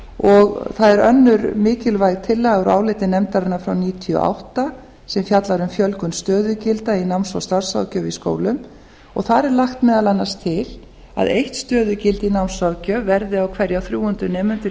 það er önnur mikilvæg tillaga úr áliti nefndarinnar frá nítján hundruð níutíu og átta sem fjallar um fjölgun stöðugilda í náms og starfsráðgjöf í skólum og þar er lagt meðal annars til að eitt stöðugildi í námsráðgjöf verði á hverja þrjú hundruð nemendur